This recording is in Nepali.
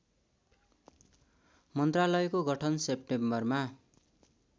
मन्त्रालयको गठन सेप्टेम्बर